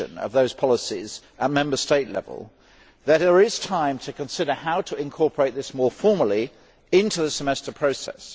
the policies at Member State level there is time to consider how to incorporate this more formally into the Semester process.